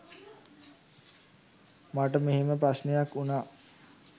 මට මෙහෙම ප්‍රශ්නයක් වුණා